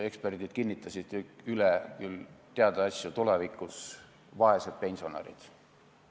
Eksperdid kinnitasid üle teada asju, mis meid tulevikus ootavad: vaesed pensionärid.